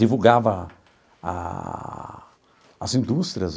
Divulgava a as indústrias,